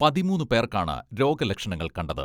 പതിമൂന്ന് പേർക്കാണ് രോഗ ലക്ഷണങ്ങൾ കണ്ടത്.